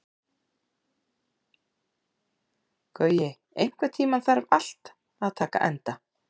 Gaui, einhvern tímann þarf allt að taka enda.